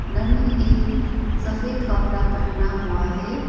न्होंने एक सफेद कपड़ा पहना हुआ है।